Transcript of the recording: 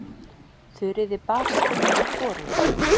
Þuríði bar saman við hvorugan.